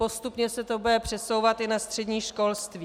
Postupně se to bude přesouvat i na střední školství.